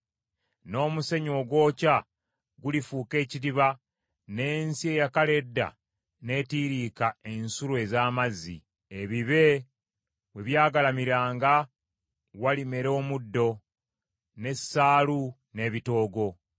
N’omusenyu ogwokya gulifuuka ekidiba, n’ensi eyakala edda n’etiiriika ensulo ez’amazzi. Ebibe we byagalamiranga walimera omuddo, n’essaalu, n’ebitoogo.